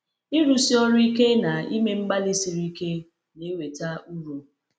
Ịrụsi ọrụ ike na ime mgbalị siri ike na-eweta uru.